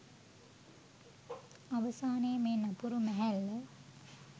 අවසානයේ මේ නපුරු මැහැල්ල